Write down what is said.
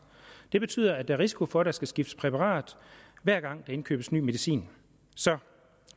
det betyder at der er risiko for at der skal skiftes præparat hver gang der indkøbes ny medicin så